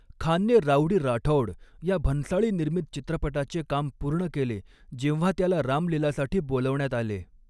खानने राऊडी राठौड या भन्साळी निर्मित चित्रपटाचे काम पूर्ण केले, जेव्हा त्याला राम लीलासाठी बोलावण्यात आले.